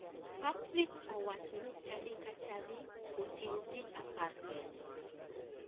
Patrick owacho ni chadi ka chadi oting ji apar kende.